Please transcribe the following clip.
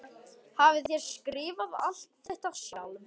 Hafið þér skrifað alt þetta sjálfur?